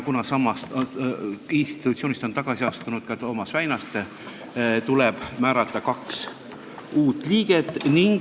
Kuna samast institutsioonist on tagasi astunud ka Toomas Väinaste, tuleb määrata kaks uut liiget.